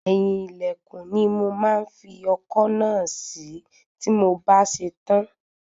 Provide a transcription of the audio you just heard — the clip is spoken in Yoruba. Eyin ilẹkun ni mo máa fi ọkọ́ náà sí tí mo bá ṣe tán.